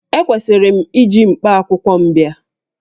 Ekwesịrị m iji mkpakwụkwọ m bịa?